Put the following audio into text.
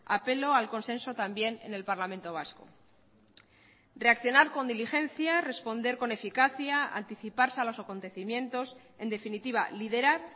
apelo al consenso también en el parlamento vasco reaccionar con diligencia responder con eficacia anticiparse a los acontecimientos en definitiva liderar